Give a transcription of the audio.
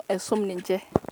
aisuma onkera.